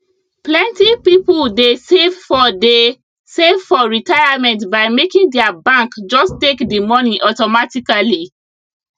plenty people dey save for dey save for retirement by making their bank just take the money automatically